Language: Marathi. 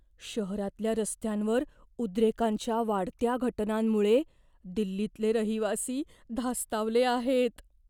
शहरातल्या रस्त्यांवर उद्रेकांच्या वाढत्या घटनांमुळे दिल्लीतले रहिवासी धास्तावले आहेत.